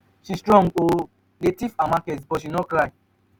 she strong oo dey thief her market but she no cry.